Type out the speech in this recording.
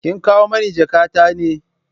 Kin kawo mani jakatar ne?